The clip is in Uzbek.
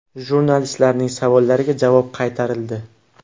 Jurnalistlarning savollariga javob qaytarildi.